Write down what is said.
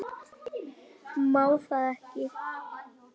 Má það ekki?